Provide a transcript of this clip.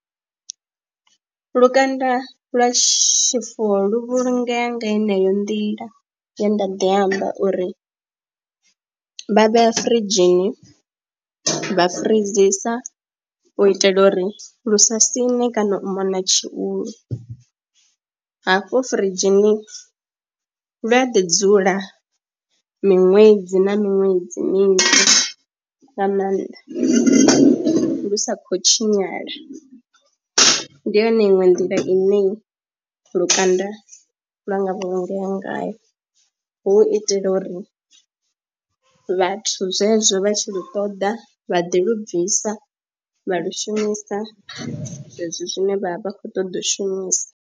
Lukanda lwa tshifuwo lu vhulungea nga heneyo nḓila ye nda ḓi amba uri vha vhea firidzhini vha freezor u itela uri lu sa siṋe kana u mona tshihulu, hafho firidzhini lu a ḓi dzula miṅwedzi na miṅwedzi minzhi nga maanḓa lu sa khou tshinyala. Ndi yone iṅwe nḓila ine lukanda lwa nga vhulungea ngayo hu itela uri vhathu zwezwo vha tshi lu ṱoḓa vha ḓi lu bvisa vha lu shumisa zwezwo zwine vha vha khou ṱoḓa u shumisa.